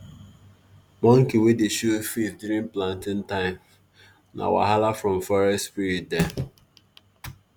monkey wey dey show face during planting time na wahala from forest spirit dem.